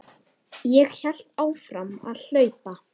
Ég hélt áfram að hlaupa.